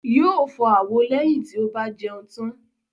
Yóo fọ àwo náà lẹ́yìn tí o bà jẹun tàn